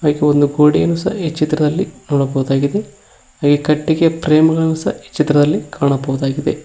ಒಂದು ಕುಡಿನ್ ಸಹ ಈ ಚಿತ್ರದಲ್ಲಿ ನೋಡಬಹುದಾಗಿದೆ ಹಾಗೆ ಕಟ್ಟಿಗೆ ಫ್ರೇಮ್ ಗಳು ಸಹ ಈ ಚಿತ್ರದಲ್ಲಿ ಕಾಣಬೋದಾಗಿದೆ.